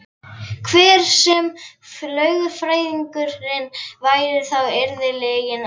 Hver sem lögfræðingurinn væri þá yrði lygin alltaf lygi.